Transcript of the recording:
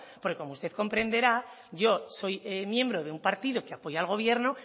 porque como usted comprenderá yo soy miembro de un partido que apoya al gobierno